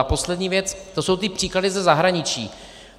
A poslední věc, to jsou ty příklady ze zahraničí.